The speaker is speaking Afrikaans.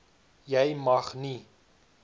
jy mag nie